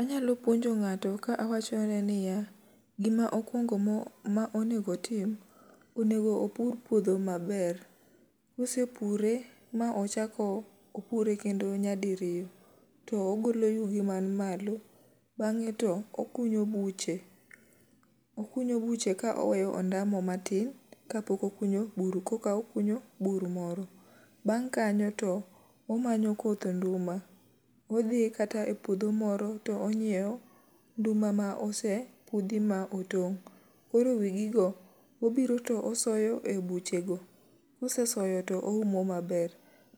Anyalo puonjo ng'ato ka awacho ne niya, gima okwongo mo ma onego tim, onego opur puodho maber. Kose pure, ma ochako opure kendo nyadi riyo, to ogolo yugi man malo. Bang'e to okunyo buche, okunyo buche ka oweyo ondamo matin, kapok okunyo bur koka okunyo bur moro. Bang' kanyo to omanyo koth nduma, odhi kata e puodho moro to onyiewo nduma ma ose pudhi ma otong'. Koro wigi go, obiro to osoyo e buche go, kose soyo to oumo maber.